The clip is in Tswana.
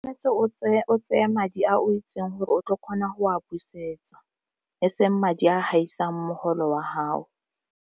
o tsee madi a o itseng gore o tlo go kgona go a busetsa eseng madi a gaisang mogolo wa haho.